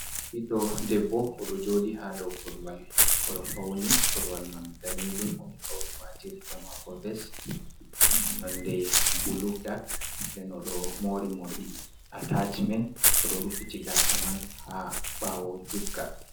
Ɓiɗɗo debbo o ɗo joɗi ha dow koruwal, o ɗo fauni, koruwal man danejum, o ɗo wati riga mako ves nonde bulu dak, den o ɗo mori morɗi atacimen, o ɗo rufiti gasa man ha ɓawo juutka.